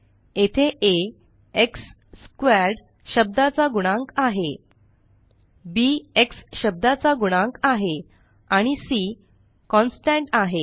येथे a x squared शब्दाचा गुणांक आहे बी एक्स शब्दाचा गुणांक आहे आणि सी कॉन्स्टेंट आहे